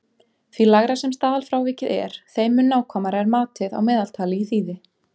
Því lægra sem staðalfrávikið er þeim mun nákvæmara er matið á meðaltali í þýði.